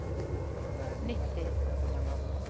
nitti